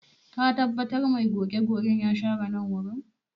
Ka tabbata mai goge-gogen ya share nan wurin?